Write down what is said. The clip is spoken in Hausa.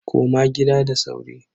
Koma gida da sauri.